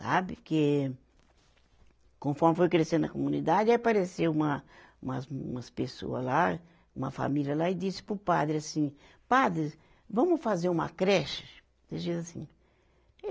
sabe, que conforme foi crescendo a comunidade, aí apareceu uma, umas,, umas pessoa lá, uma família lá e disse para o padre assim, padre, vamos fazer uma creche? Desse jeito assim e